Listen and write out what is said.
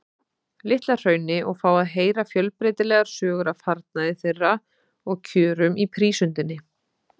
Litla-Hrauni og fá að heyra fjölbreytilegar sögur af farnaði þeirra og kjörum í prísundinni.